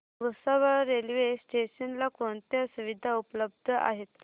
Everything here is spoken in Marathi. भुसावळ रेल्वे स्टेशन ला कोणत्या सुविधा उपलब्ध आहेत